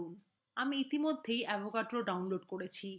আমি ইতিমধ্যে avogadro download করেছি